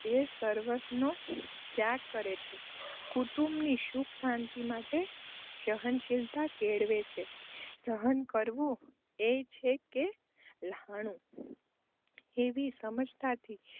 એ સર્વસ્વનો ત્યાગ કરે છે. કુટુંબની સુખશાંતિ માટે તે સહનશીલતા કેળવે છે. સહન કરવું એય છે એક લ્હાણું એવી સમજથી